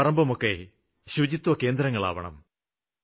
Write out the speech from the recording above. വീടും പറമ്പുമൊക്കെ ശുചിത്വകേന്ദ്രങ്ങളാവണം